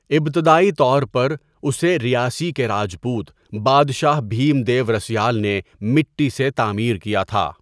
ابتدائی طور پر اسے ریاسی کے راجپوت بادشاہ بھیم دیو رسیال نے مٹی سے تعمیر کیا تھا۔